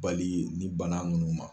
Bali ni bana ninnu ma.